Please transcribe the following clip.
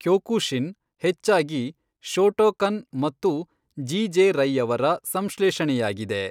Kyokushin ಹೆಚ್ಚಾಗಿ Shotokan ಮತ್ತು ಜಿಜೆ ರೈಯವರ ಸಂಶ್ಲೇಷಣೆಯಾಗಿದೆ.